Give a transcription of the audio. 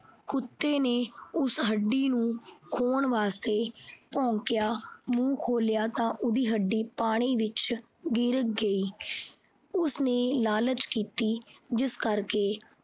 ਕੁੱਤਾ ਉਹ ਹੱਡੀ ਨੂੰ ਖੋਹਣ ਵਾਸਤੇ ਭੌਂਕਿਆ, ਮੂੰਹ ਖੋਲਿਆ ਤਾਂ ਉਸਦੀ ਹੱਡੀ ਪਾਣੀ ਵਿੱਚ ਗਿਰ ਗਈ। ਉਸਨੇ ਲਾਲਚ ਕੀਤੀ ਜਿਸ ਕਰਕੇ